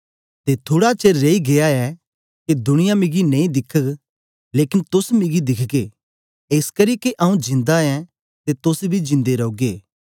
ते थुड़ा चेर रेई गीया ऐ के दुनिया मिगी नेई दिखग लेकन तोस मिगी दिखगे एसकरी के आऊँ जिंदा ऐं ते तोस बी जिंदे रौगे